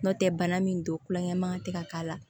N'o tɛ bana min don kulonkɛ man tɛ ka k'a la